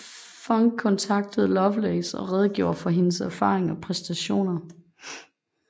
Funk kontaktede Lovelace og redegjorde for hendes erfaring og præstationer